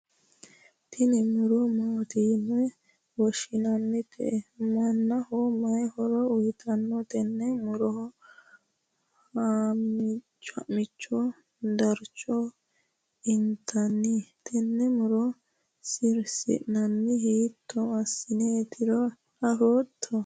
tini muro maati yine woshshinannite? mannaho mayi horo uyiitanno? tenne muroha ha'michonso darcho intanni? tene muro sirsinannihu hiitto assineetiro afootto?